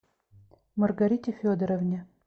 маргарите федоровне